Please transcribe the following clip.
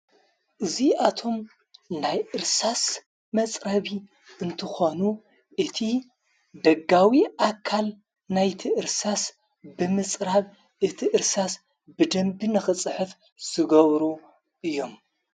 እዙይ ኣቶም ናይ እርሳስ መጽረቢ እንትኾኑ እቲ ደጋዊ ኣካል ናይቲእርሳስ ብምጽራብ እቲ እርሳስ ብደንቢንኽጽሐፍ ዝገብሩ እዮም።